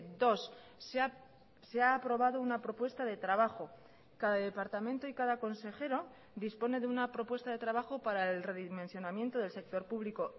dos se ha aprobado una propuesta de trabajo cada departamento y cada consejero dispone de una propuesta de trabajo para el redimensionamiento del sector público